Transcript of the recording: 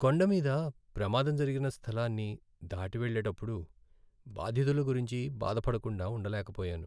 కొండ మీద ప్రమాదం జరిగిన స్థలాన్ని దాటి వెళ్ళేటప్పుడు బాధితుల గురించి బాధపడకుండా ఉండలేకపోయాను.